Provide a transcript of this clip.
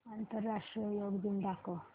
आंतरराष्ट्रीय योग दिन दाखव